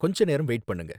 கொஞ்ச நேரம் வெயிட் பண்ணுங்க